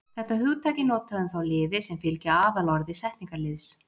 Þetta hugtak er notað um þá liði sem fylgja aðalorði setningarliðs.